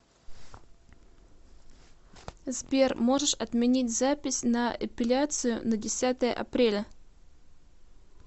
сбер можешь отменить запись на эпеляцию на десятое апреля